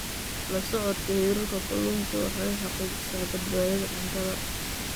La socodka heerarka kalluunka waxa ay xaqiijisaa badbaadada cuntada.